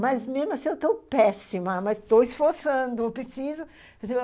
Mas mesmo assim eu estou péssima, mas estou esforçando, eu preciso.